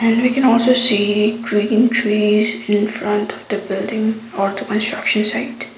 and we can also see green trees in front of the building or the construction site.